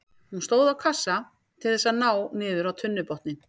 Hún stóð á kassa til þess að ná niður á tunnubotninn.